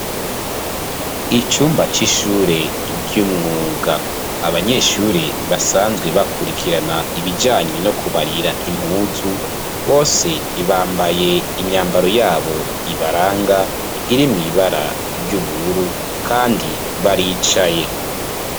Icumba c'ishure ry'umwuga abanyeshure basanzwe bakurikirana ibijanyi no kubarira impuzu bose bambaye imyambaro yabo ibaranga iri mw'ibara ry'ubururu, kandi baricaye.